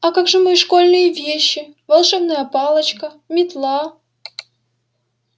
а как же мои школьные вещи волшебная палочка метла